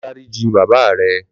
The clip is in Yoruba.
Lò dàriji bàbá rè